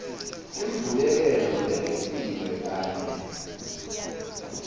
imbuyekelo lengetiwe kanye